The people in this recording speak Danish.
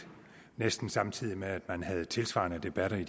næsten samtidig med at man havde tilsvarende debatter en